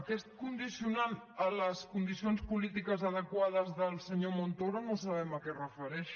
aquest condicionant a les condicions polítiques adequades del senyor montoro no sabem a què es refereix